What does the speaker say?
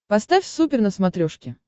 поставь супер на смотрешке